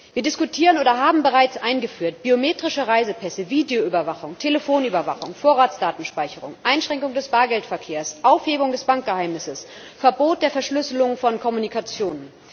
Wir diskutieren oder haben bereits eingeführt biometrische Reisepässe, Videoüberwachung, Telefonüberwachung, Vorratsdatenspeicherung, Einschränkung des Bargeldverkehrs, Aufhebung des Bankgeheimnisses, Verbot der Verschlüsselung von Kommunikation.